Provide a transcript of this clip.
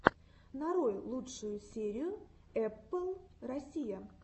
нарой лучшую серию эппл россия